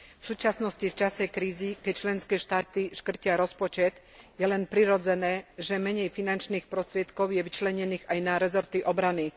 V súčasnosti v čase krízy, keď členské štáty škrtia rozpočet, je len prirodzené, že menej finančných prostriedkov je vyčlenených aj na rezorty obrany.